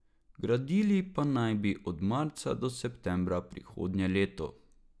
Gradili pa naj bi ga od marca do septembra prihodnje leto.